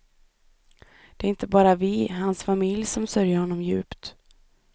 Det är inte bara vi, hans familj, som sörjer honom djupt.